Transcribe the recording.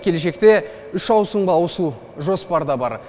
келешекте үш ауысымға ауысу жоспарда бар